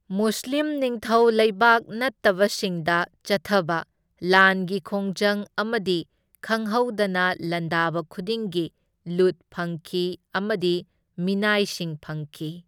ꯃꯨꯁꯂꯤꯝ ꯅꯤꯡꯊꯧ ꯂꯩꯕꯥꯛ ꯅꯠꯇꯕꯁꯤꯡꯗ ꯆꯠꯊꯕ ꯂꯥꯟꯒꯤ ꯈꯣꯡꯖꯪ ꯑꯃꯗꯤ ꯈꯪꯍꯧꯗꯅ ꯂꯥꯟꯗꯥꯕ ꯈꯨꯗꯤꯡꯒꯤ ꯂꯨꯠ ꯐꯪꯈꯤ ꯑꯃꯗꯤ ꯃꯤꯅꯥꯏꯁꯤꯡ ꯐꯪꯈꯤ꯫